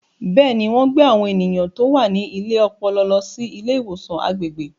Bẹ́ẹ̀ni, wọ́n gbé àwọn ènìyàn tó wà ní ilé ọpọlọ lọ sí ilé ìwòsàn agbègbè.